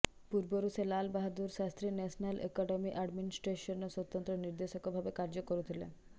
ପୂର୍ବରୁ ସେ Lal Bahadur Shastri national academy ଆଡମିନଷ୍ଟ୍ରେସନର ସ୍ୱତନ୍ତ୍ର ନିର୍ଦ୍ଦେଶକ ଭାବେ କାର୍ଯ୍ୟ କରୁଥିଲେ